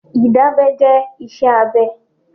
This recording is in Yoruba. Ìdábẹ́ jẹ́ iṣẹ́ abẹ.